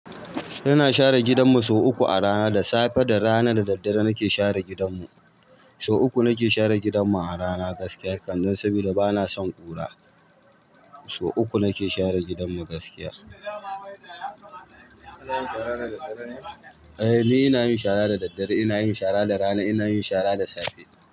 Ina share gidanmu sau uku a rana da safe, da rana da daddare nake share gidanmu. Sau uku nake share gidanmu a rana gaskiya, kannan saboda bana son ƙura. Sau uku nake share gidanmu gaskiya. Ka na yin shara da daddare ne? Eh, ni ina yin shara da daddare, ina yin shara da rana, ina yin shara da safe.